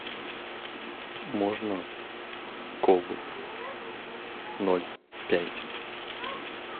можно колу ноль пять